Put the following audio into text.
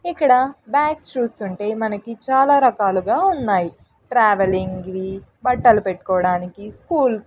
ఇక్కడ బ్యాగ్స్ చూస్తుంటే మనకి చాలా రకాలుగా ఉన్నాయి ట్రావెలింగ్ వి బట్టలు పెట్టుకోవడానికి స్కూల్ --